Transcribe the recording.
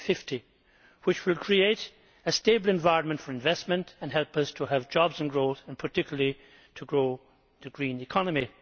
2050. This will create a stable environment for investment and help us to have jobs and growth and, particularly, to nurture the green economy.